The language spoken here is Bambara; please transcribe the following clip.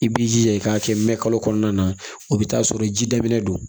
I b'i jija i k'a kɛ mɛn kalo kɔnɔna na o bɛ taa sɔrɔ ji daminɛ don